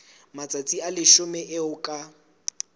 matsatsi a leshome eo ka